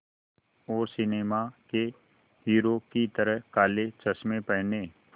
और सिनेमा के हीरो की तरह काले चश्मे पहने